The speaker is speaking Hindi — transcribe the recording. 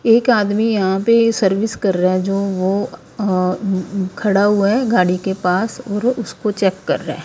एक आदमी यहां पे सर्विस कर रहा है जो वो अ उ खड़ा हुआ है गाड़ी के पास और उसको चेक कर रहा है ।